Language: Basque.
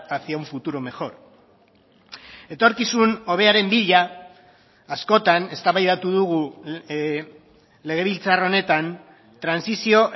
hacia un futuro mejor etorkizun hobearen bila askotan eztabaidatu dugu legebiltzar honetan trantsizio